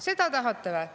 Seda te tahate või?